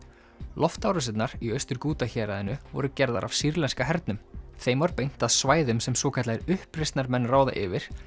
loftárásirnar í Austur Ghouta héraðinu voru gerðar af sýrlenska hernum þeim var beint að svæðum sem svokallaðir uppreisnarmenn ráða yfir